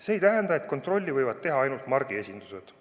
See ei tähenda, et kontrolli võivad teha ainult margiesindused.